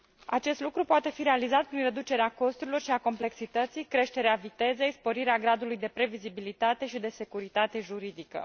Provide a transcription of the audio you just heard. Acest lucru poate fi realizat prin reducerea costurilor și a complexității, creșterea vitezei, sporirea gradului de previzibilitate și de securitate juridică.